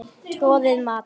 Troðið mat?